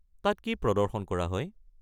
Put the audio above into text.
তাত কি প্ৰদৰ্শন কৰা হয়?